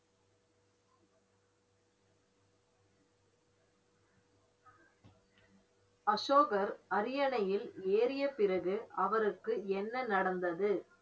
அசோகர் அரியணையில் ஏறிய பிறகு அவருக்கு என்ன நடந்தது